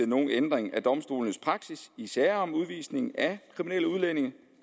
nogen ændring i domstolenes praksis i sager om udvisning af kriminelle udlændinge